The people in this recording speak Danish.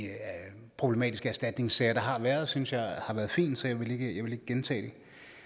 problematiske erstatningssager der har været synes jeg har været fin så jeg vil ikke gentage